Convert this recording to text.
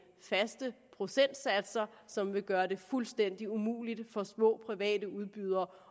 faste procentsatser som vil gøre det fuldstændig umuligt for små private udbydere